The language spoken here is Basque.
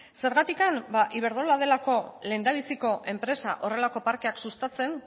zergatik iberdrola delako lehendabiziko enpresa horrelako parkeak sustatzen